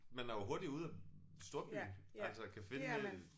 Man er jo hurtigt ude af storbyen og altså kan finde øh